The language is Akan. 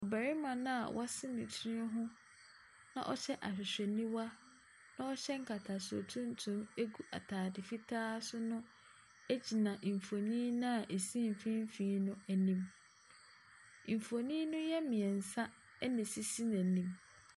Barima no a wase ne tiri ho, na wahyɛ ahwehwɛniwa na ɔhyɛ nkatasoɔ tuntum gu ataade fitaa so no gyina mfonin no a ɛsi mfimfin no anim. Mfonin no yɛ mmiɛnsa na ɛsisi n’anim.